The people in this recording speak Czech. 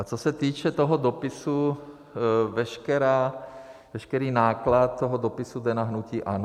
A co se týče toho dopisu, veškerý náklad toho dopisu jde na hnutí ANO.